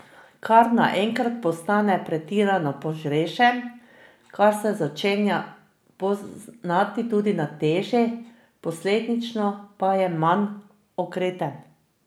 Kar naenkrat postane pretirano požrešen, kar se začenja poznati tudi na teži, posledično pa je manj okreten.